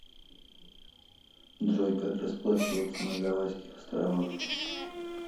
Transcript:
джой как расплачиваться на гавайских островах